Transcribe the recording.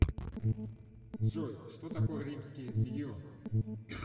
джой что такое римский легион